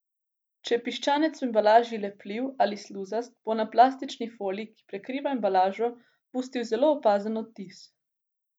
Če je piščanec v embalaži lepljiv ali sluzast, bo na plastični foliji, ki prekriva embalažo, pustil zelo opazen odtis.